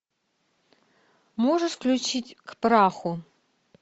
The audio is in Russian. можешь включить к праху